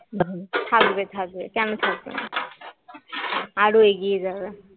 থাকবে থাকবে কেন থাকবে না আরো এগিয়ে যাবে